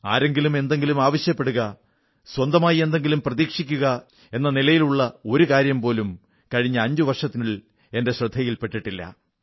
ആരെങ്കിലും എന്തെങ്കിലും ആവശ്യപ്പെടുക സ്വന്തമായി എന്തെങ്കിലും പ്രതീക്ഷിക്കുക എന്ന നിലയിലുള്ള ഒരു കാര്യം പോലും കഴിഞ്ഞ അഞ്ചു വർഷത്തിൽ എന്റെ ശ്രദ്ധയിൽ പെട്ടിട്ടില്ല